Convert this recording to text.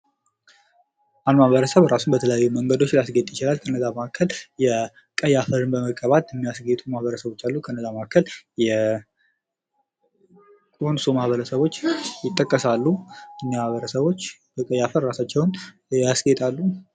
አኝዋክ ማህበረሰብ እራሱን በተለያየ መንገዶች ማስጌጥ ይችላሉ። ከእነዚያ መካከል የቀይ አፈርን በመቀባት የሚያሰሰጌጡ ማህበረሰቦች አሉ። ከእነዚያ መከካከል የኮንሶ ማህበረሰቦች ይጠቀሳሉ። እነዚህ ማህበረሰቦች በቀይ አፈር እራሳቸዉን ያስጌጣሉ።